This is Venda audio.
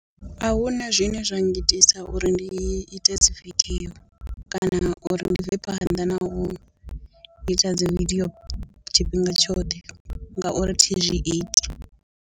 Ahuna zwine zwa nga itisa uri ndi ite dzi video kana uri ndi bve phanḓa na u ita dzi video tshifhinga tshoṱhe ngauri thi zwi iti.